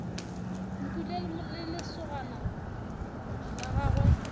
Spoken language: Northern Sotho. mpule le lesogana la gagwe